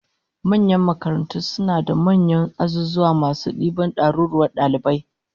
Manyan makarantu suna da manyan azuzuwa masu diban daruruwan dalibai